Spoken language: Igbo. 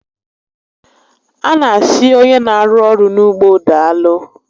A na asị onye n'arụ ọrụ n'ugbo daalụ